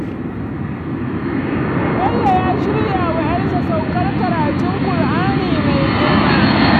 Bello ya shirya wa 'yarsa walimar saukar karatun Kur'ani mai girma.